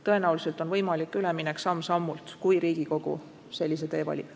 Tõenäoliselt on võimalik üleminek samm-sammult, kui Riigikogu sellise tee valib.